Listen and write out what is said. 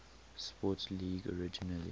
sports league originally